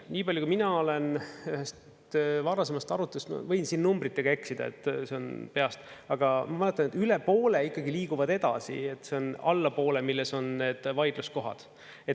Nii palju, kui mina olen ühest varasemast arutelust, ma võin siin numbritega eksida, see on peast, aga ma mäletan, et üle poole ikkagi liiguvad edasi, see on allapoole, milles on need vaidluskohad.